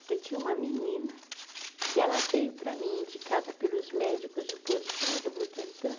Eu tinha uma menina que ela veio para mim, indicada pelos médicos, do postinho do Butantã.